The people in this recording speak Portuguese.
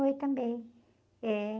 Foi também, é